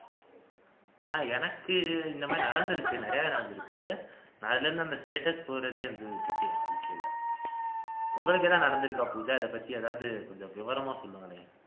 அஹ் எனக்கு இந்த மாதிரி நடந்திருக்கு நிறையாவே நடந்திருக்கு அதுல இருந்து இந்த status போடுறதையே வந்து விட்டுட்டேன் வாழ்க்கையில உங்களுக்கு ஏதாவது நடந்திருக்கா பூஜா இதைப்பத்தி ஏதாவது கொஞ்சம் விவரமா சொல்லுங்களேன்